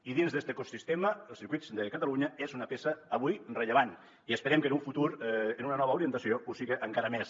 i dins d’este ecosistema circuits de catalunya és una peça avui rellevant i esperem que en un futur amb una nova orientació ho siga encara més